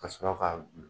Ka sɔrɔ ka